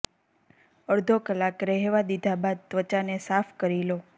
અડધો કલાક રહેવા દીધા બાદ ત્વચાને સાફ કરી લો